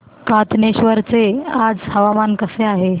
कातनेश्वर चे आज हवामान कसे आहे